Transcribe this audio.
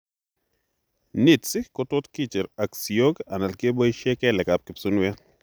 Nits kotot kicher ak siook ala keboisien keleek ab kipsunueet